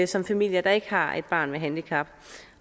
som familier der ikke har et barn med handicap